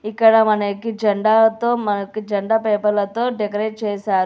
ఇక్కడ మనకి జెండాతో మనకు జెండా పేపర్లతో డెకరేట్ చేశారు.